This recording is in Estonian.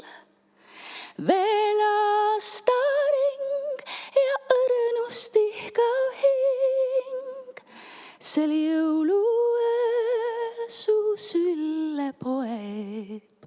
Veel aastaring, ja õrnust ihkav hing sel jõuluööl su sülle poeb.